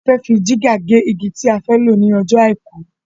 A fẹ́ fi jìgá gé igi ti a fẹ́ lọ ní ọjọ́ àìkú